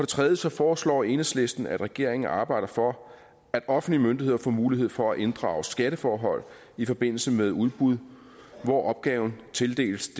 tredje foreslår enhedslisten at regeringen arbejder for at offentlige myndigheder får mulighed for at inddrage skatteforhold i forbindelse med udbud hvor opgaven tildeles